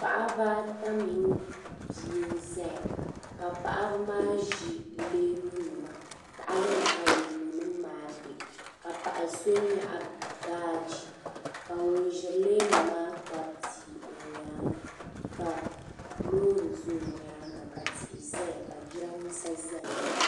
Paɣiba ata mini bia n-zaya ka paɣiba maa ʒi leemunima. Tahali ni leemunima maa be ka paɣa so nyaɣi baaji ka ŋun ʒiri leemu maa kpabi bia o nyaaŋga ka loori za o nyaaŋga ka tihi zaya ka jidambiisa za nyaaŋga.